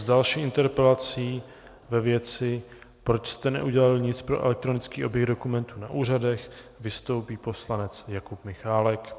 S další interpelací ve věci "proč jste neudělali nic pro elektronický oběh dokumentů na úřadech" vystoupí poslanec Jakub Michálek.